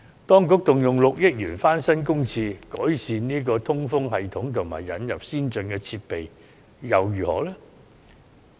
當局動用6億元翻新公廁，改善通風系統及引入先進設備，結果如何呢？